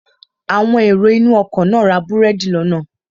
Àwọn èrò inú ọkọ̀ náà ra búrẹ́dì lọ́nà